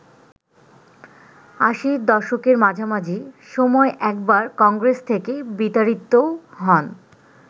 আশির দশকের মাঝামাঝি সময় একবার কংগ্রেস থেকে বিতাড়িতও হন।